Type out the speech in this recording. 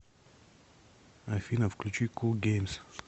афина включи кул геймс